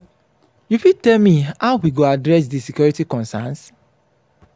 you fit tell me how we go address di security conerns?